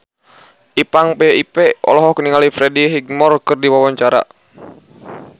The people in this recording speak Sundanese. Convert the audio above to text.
Ipank BIP olohok ningali Freddie Highmore keur diwawancara